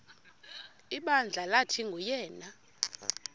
ibandla lathi nguyena